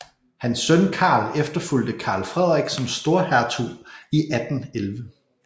Hans søn Karl efterfulgte Karl Frederik som storhertug i 1811